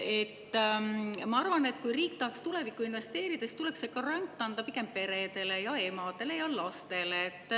Ma arvan, et kui riik tahaks tulevikku investeerida, siis tuleks see grant anda pigem peredele, emadele ja lastele.